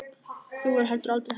Þau voru heldur aldrei hrædd.